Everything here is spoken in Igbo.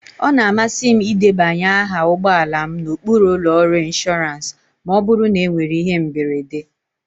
Ọ na-amasị m ịdebanye aha ụgbọ ala m n'okpuru ụlọ ọrụ inshọransị ma ọ bụrụ na enwere ihe mberede